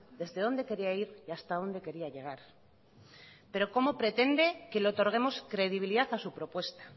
desde dónde quería ir y hasta dónde quería llegar pero cómo pretende que le otorguemos credibilidad a su propuesta